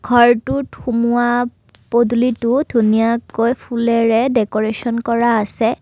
ঘৰটোত সুমুওৱা পদুলিটো ধুনীয়াকৈ ফুলেৰে দেকৰেচন কৰা আছে।